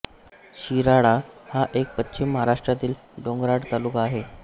शिराळा हा एक पश्चिम महाराष्ट्रातील डोंगराळ तालुका आहे